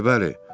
Bəli, bəli.